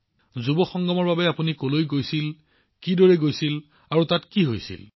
যুৱ সংগমৰ বাবে আপুনি কলৈ গৈছিল আপুনি কেনেকৈ গৈছিল কি হৈছিল